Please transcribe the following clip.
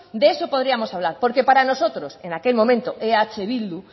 de eso podríamos hablar porque para nosotros en aquel momento eh bildu